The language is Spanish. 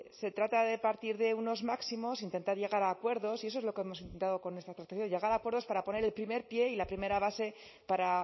se trata de partir de unos máximos intentar llegar a acuerdos y eso es lo que hemos intentado con esta llegar a acuerdos para poner el primer pie y la primera base para